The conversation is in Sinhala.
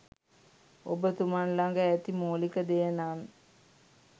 ඔබ තුමන් ලග ඇති මුලික දෙය නම්